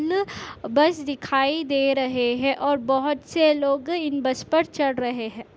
बस दिखाई दे रहे है और बहुत से लोग इन बस पर चढ़ रहे है।